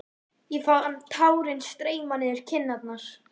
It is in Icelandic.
Ég fann tárin streyma niður kinnarnar.